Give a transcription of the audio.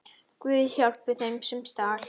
Guð, hjálpi þeim, sem stal!